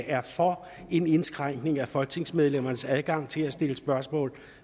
er for en indskrænkning af folketingsmedlemmernes adgang til at stille spørgsmål